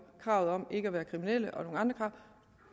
kravet om ikke at være kriminelle og nogle andre